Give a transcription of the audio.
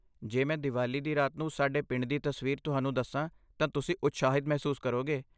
ਜੇ ਮੈਂ ਦੀਵਾਲੀ ਦੀ ਰਾਤ ਨੂੰ ਸਾਡੇ ਪਿੰਡ ਦੀ ਤਸਵੀਰ ਤੁਹਾਨੂੰ ਦੱਸਾਂ ਤਾਂ ਤੁਸੀਂ ਉਤਸ਼ਾਹਿਤ ਮਹਿਸੂਸ ਕਰੋਗੇ।